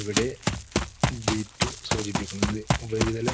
ഇവിടെ G two സൂചിപ്പിക്കുന്നത്. ഉപരിതല,